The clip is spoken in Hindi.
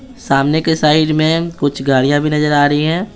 सामने के साइड में कुछ गाड़ियां भी नजर आ रही हैं।